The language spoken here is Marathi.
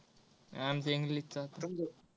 आमचा English चा होता.